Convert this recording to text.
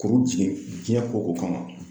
Kɔrɔ jiɲɛ, jiɲɛ ko ko kama.